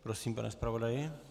Prosím, pane zpravodaji.